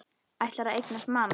Ætlar að eignast mann.